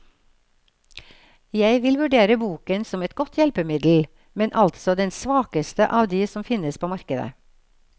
Jeg vil jeg vurdere boken som et godt hjelpemiddel, men altså den svakeste av de som finnes på markedet.